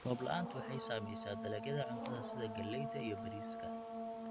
Roob la'aantu waxay saamaysaa dalagyada cuntada sida galleyda iyo bariiska.